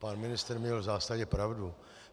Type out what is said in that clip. Pan ministr měl v zásadě pravdu.